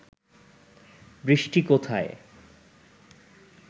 বৃষ্টি কোথায়